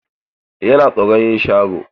Yana tsoron yin sharo.